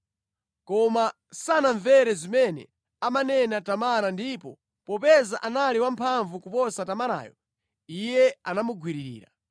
Koma sanamvere zimene amanena Tamara ndipo popeza anali wamphamvu kuposa Tamarayo, iye anamugwirira.